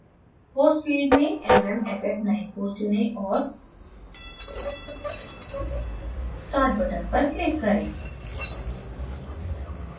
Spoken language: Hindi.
force field में mmff94 चुनें और start button पर click करें